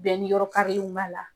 ni yɔrɔkarilen b'a la.